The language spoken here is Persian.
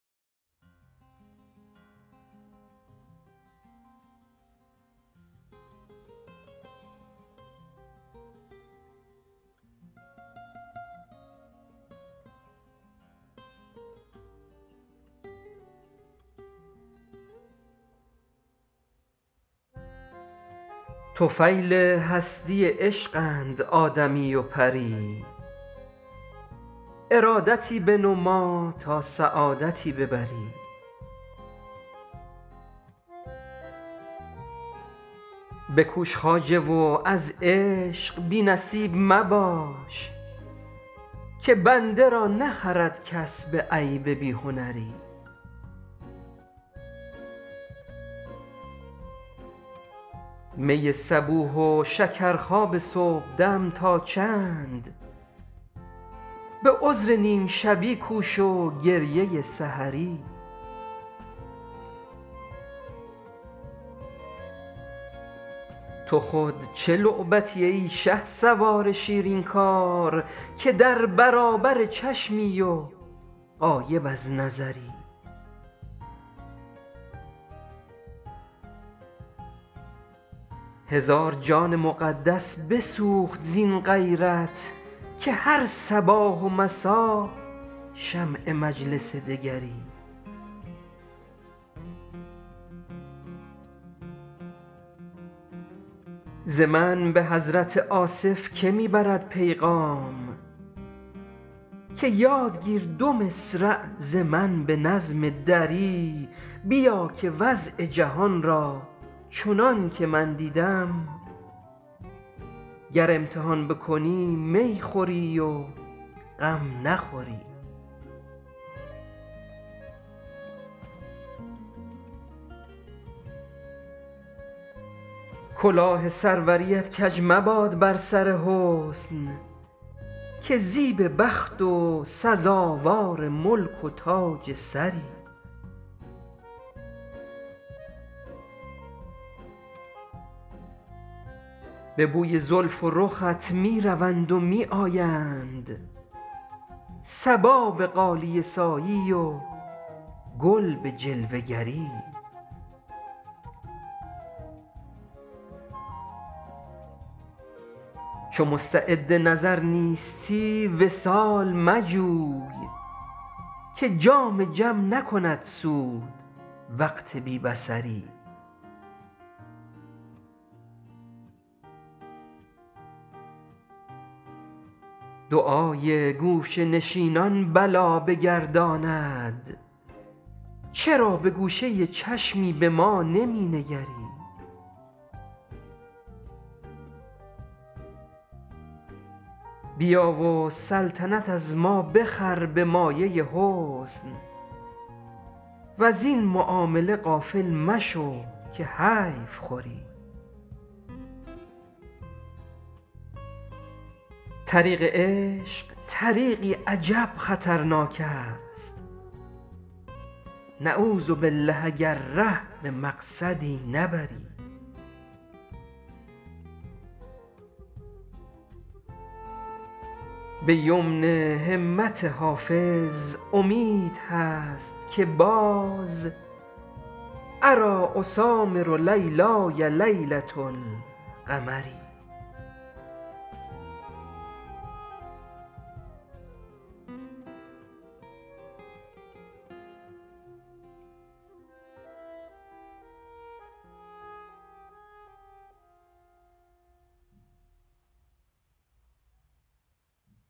طفیل هستی عشقند آدمی و پری ارادتی بنما تا سعادتی ببری بکوش خواجه و از عشق بی نصیب مباش که بنده را نخرد کس به عیب بی هنری می صبوح و شکرخواب صبحدم تا چند به عذر نیم شبی کوش و گریه سحری تو خود چه لعبتی ای شهسوار شیرین کار که در برابر چشمی و غایب از نظری هزار جان مقدس بسوخت زین غیرت که هر صباح و مسا شمع مجلس دگری ز من به حضرت آصف که می برد پیغام که یاد گیر دو مصرع ز من به نظم دری بیا که وضع جهان را چنان که من دیدم گر امتحان بکنی می خوری و غم نخوری کلاه سروریت کج مباد بر سر حسن که زیب بخت و سزاوار ملک و تاج سری به بوی زلف و رخت می روند و می آیند صبا به غالیه سایی و گل به جلوه گری چو مستعد نظر نیستی وصال مجوی که جام جم نکند سود وقت بی بصری دعای گوشه نشینان بلا بگرداند چرا به گوشه چشمی به ما نمی نگری بیا و سلطنت از ما بخر به مایه حسن وزین معامله غافل مشو که حیف خوری طریق عشق طریقی عجب خطرناک است نعوذبالله اگر ره به مقصدی نبری به یمن همت حافظ امید هست که باز اریٰ اسامر لیلای لیلة القمری